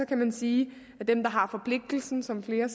kan man sige at dem der har forpligtelsen som flere